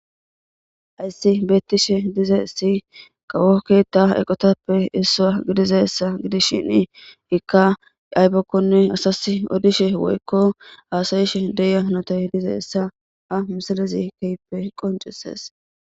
Hayssi beetishe dizaysi kawo keetha eqotappe issa gidishini,ika aybako asas odishenne haasyishe de'iya hanotay dizaysa ha misiley keehippe qoncisesews.